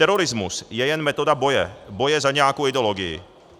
Terorismus je jen metoda boje, boje za nějakou ideologii.